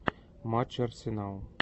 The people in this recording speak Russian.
матч арсенал